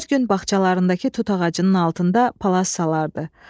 Hər gün bağçalarındakı tut ağacının altında palas salardı.